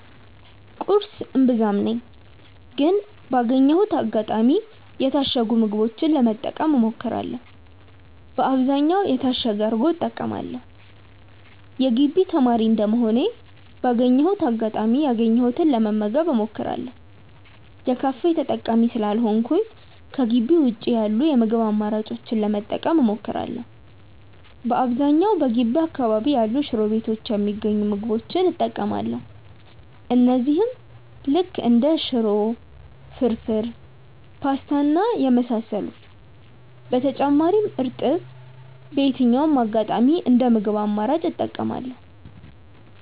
ቁርስ እምብዛም ነኝ ግን ባገኘሁት አጋጣሚ የታሸጉ ምግቦችን ለመጠቀም እሞክራለው በአብዛኛውም የታሸገ እርጎ እጠቀማለው። የግቢ ተማሪ እንደመሆኔ ባገኘሁት አጋጣሚ ያገኘሁትን ለመመገብ እሞክራለው። የካፌ ተጠቃሚ ስላልሆንኩኝ ከጊቢ ውጪ ያሉ የምግብ አማራጮችን ለመጠቀም እሞክራለው። በአብዛኛውም በገቢ አካባቢ ያሉ ሽሮ ቤቶች የሚገኙ ምግቦች እጠቀማለው እነዚህም ልክ እንደ ሽሮ፣ ፍርፉር፣ ፖስታ እና የመሳሰሉት። በተጨማሪም እርጥብ በየትኛውም አጋጣሚ እንደ ምግብ አማራጭ እጠቀማለው።